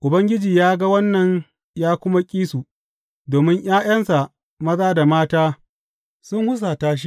Ubangiji ya ga wannan ya kuma ƙi su, domin ’ya’yansa maza da mata sun husata shi.